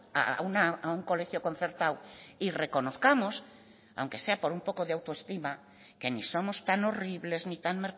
a un colegio concertado y reconozcamos aunque sea por un poco de autoestima que ni somos tan horribles ni tan